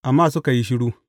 Amma suka yi shiru.